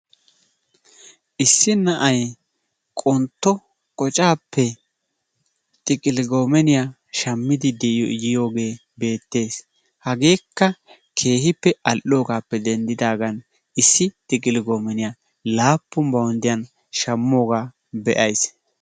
Issi na'ay qontto qocaappe xiqili goomeniyaa shammidi yioogee beettes hageekka keehippe all'oogaappe dendidaagan issi xiqili goomeniyaa laappun bawunddiyaan shammoogaa be'ayisi.